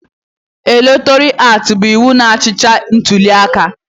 Elektoral aktị bụ iwu na-achịcha ntuliaka.